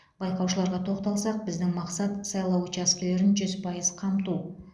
байқаушыларға тоқталсақ біздің мақсат сайлау учаскелерін жүз пайыз қамту